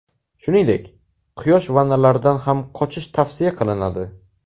Shuningdek, quyosh vannalaridan ham qochish tavsiya qilinadi.